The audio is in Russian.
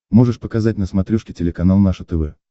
можешь показать на смотрешке телеканал наше тв